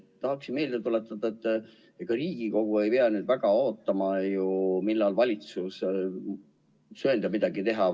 Tahan meelde tuletada, et ega Riigikogu ei pea ju väga ootama, millal valitsus söandab midagi teha.